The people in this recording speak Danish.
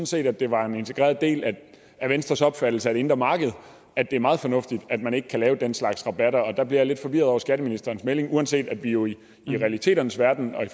set at det var en integreret del af venstres opfattelse af det indre marked at det er meget fornuftigt at man ikke kan give den slags rabatter og der bliver jeg lidt forvirret over skatteministerens melding uanset at vi jo i realiteternes verden og i